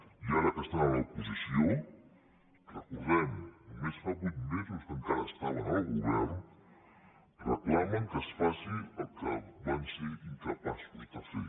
i ara que són a l’oposició ho recordem només fa vuit mesos que encara estaven al govern reclamen que es faci el que van ser incapaços de fer